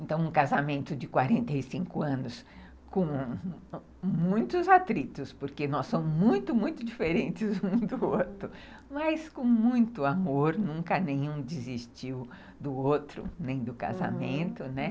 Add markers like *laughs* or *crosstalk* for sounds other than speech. Então, um casamento de casamento de anos com muitos atritos, porque nós somos muito, muito diferentes um do outro, *laughs* mas com muito amor, nunca nenhum desistiu do outro, nem do casamento, né?